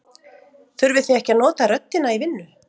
Þurfið þið ekki að nota röddina í vinnu?